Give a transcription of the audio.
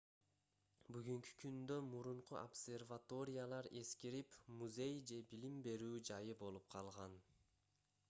бүгүнкү күндө мурунку обсерваториялар эскирип музей же билим берүү жайы болуп калган